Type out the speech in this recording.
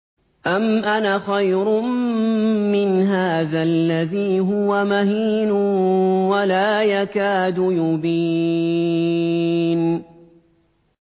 أَمْ أَنَا خَيْرٌ مِّنْ هَٰذَا الَّذِي هُوَ مَهِينٌ وَلَا يَكَادُ يُبِينُ